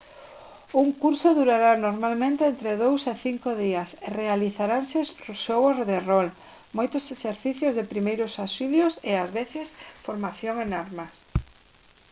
un curso durará normalmente entre 2 e 5 días e realizaranse xogos de rol moitos exercicios de primeiros auxilios e ás veces formación en armas